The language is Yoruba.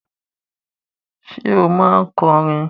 Ṣé o máa ń kọrin?